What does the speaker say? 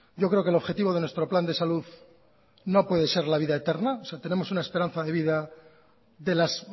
yo creo que el objetivo de nuestro plan de salud no puede ser la vida eterna o sea tenemos una esperanza de vida de las